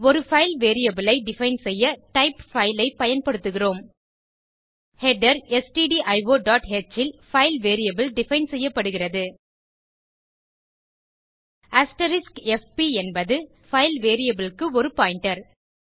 ஒரு file variable ஐ define செய்ய டைப் பைல் ஐ பயன்படுத்துகிறோம் ஹெடர் stdioஹ் ல் பைல் வேரியபிள் டிஃபைன் செய்யப்படுகிறது fp என்பது பைல் வேரியபிள் க்கு ஒரு பாயிண்டர்